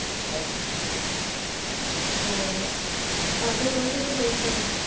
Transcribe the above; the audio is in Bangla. হ্যাঁ আপনি কে আপনি কোথা থেকে বলছেন?